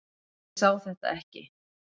Ég sá þetta ekki.